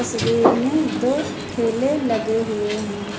तस्वीर में दो ठेले लगे हुए हैं।